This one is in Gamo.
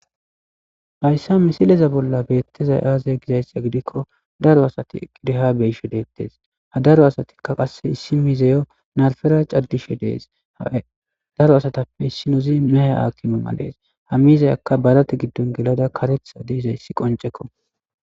Hayssa misileza bolla beettezay aaze gizayssiya gidikko daro asati eqideha beyshe deettes ha daro asatikka qasse issi mizayo narfera caddishe dees daro asatappe issinozi mehe akimamalees ha mizayakka barate giddon gelada karetha deizayssi qoncekko